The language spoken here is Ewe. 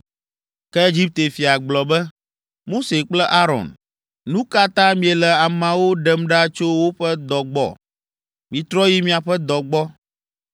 Ke Egipte fia gblɔ be, “Mose kple Aron, nu ka ta miele ameawo ɖem ɖa tso woƒe dɔ gbɔ? Mitrɔ yi miaƒe dɔ gbɔ!”